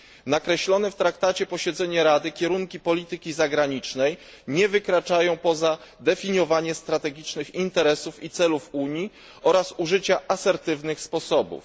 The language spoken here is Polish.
Nakreślone w traktacie posiedzenie Rady, kierunki polityki zagranicznej nie wykraczają poza definiowanie strategicznych interesów i celów Unii oraz użycia asertywnych sposobów.